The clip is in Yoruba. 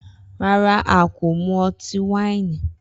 Rara, a ko mu ọti-waini.